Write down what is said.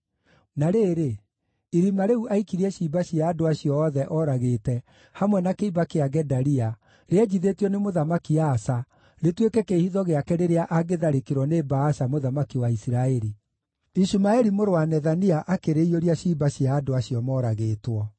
Na rĩrĩ, irima rĩu aikirie ciimba cia andũ acio othe ooragĩte, hamwe na kĩimba kĩa Gedalia, rĩenjithĩtio nĩ Mũthamaki Asa rĩtuĩke kĩĩhitho gĩake rĩrĩa angĩtharĩkĩrwo nĩ Baasha mũthamaki wa Isiraeli. Ishumaeli mũrũ wa Nethania akĩrĩiyũria ciimba cia andũ acio moragĩtwo.